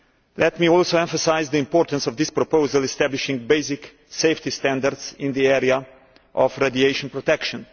Let me also emphasise the importance of this proposal establishing basic safety standards in the area of radiation protection.